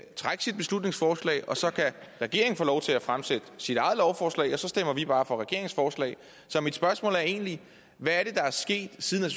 trække sit beslutningsforslag og så kan regeringen få lov til at fremsætte sit eget lovforslag og så stemmer vi bare for regeringens forslag så mit spørgsmål er egentlig hvad er det der er sket siden